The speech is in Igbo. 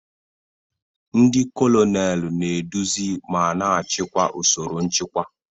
Ndi kolonelu na-eduzi ma na-achịkwa usoro nchịkwa.